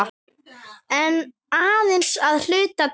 En aðeins að hluta til.